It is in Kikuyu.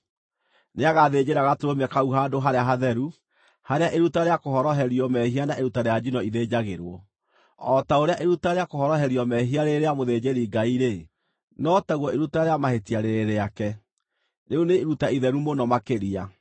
Nĩagathĩnjĩra gatũrũme kau handũ harĩa hatheru, harĩa iruta rĩa kũhoroherio mehia na iruta rĩa njino ithĩnjagĩrwo. O ta ũrĩa iruta rĩa kũhoroherio mehia rĩrĩ rĩa mũthĩnjĩri-Ngai-rĩ, no taguo iruta rĩa mahĩtia rĩrĩ rĩake, rĩu nĩ iruta itheru mũno makĩria.